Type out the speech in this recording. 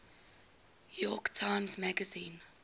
york times magazine